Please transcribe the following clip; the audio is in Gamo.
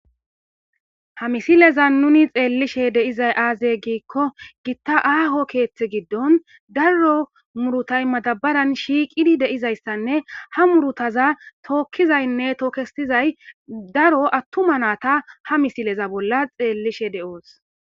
ha misileza nuni xeellishe deizay aaze giikko gitta aaho keeththe giddon daro murutay madabaran shiiqidi deizayssanne ha murutaza tookkizaynne tookestizay daro attuma naata ha misileza bolla xeellishe de7oos